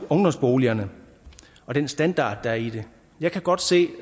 ungdomsboligerne og den standard der er i det jeg kan godt se